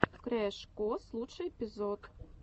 крэш кос лучший эпизод